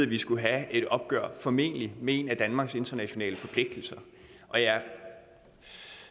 vi skulle have et opgør formentlig med en af danmarks internationale forpligtelser og jeg